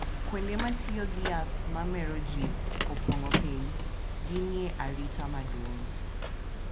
Kuonde ma tiyo gi yath ma mero ji opong’o piny, gin e arita maduong’